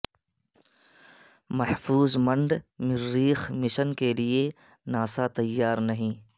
محفوظ منڈ مریخ مشن کے لئے ناسا تیار نہیں